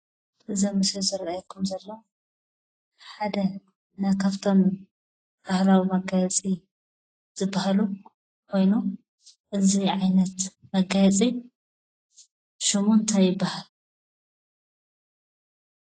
እዚ ኣብ ምስሊ ዝረአየኩም ዘሎ ሓደ ካብፍቶም ባህላዊ መጋየፂ ዝባሃሉ ኮይኑ እዚ ዓይነት መጋየፂ ሽሙ እንታይ ይባሃል?